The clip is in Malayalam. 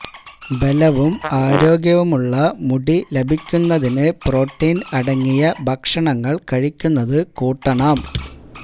ബലവും ആരോഗ്യവുമുള്ള മുടി ലഭിക്കുന്നതിന് പ്രോട്ടീന് അടങ്ങിയ ഭക്ഷണങ്ങള് കഴിക്കുന്നത് കൂട്ടണം